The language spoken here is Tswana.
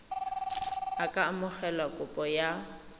a ka amogela kopo ya